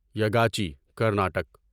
یگاچی Karnataka